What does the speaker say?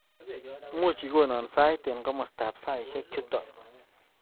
Muuch igonon sait eng komostab saishek chuto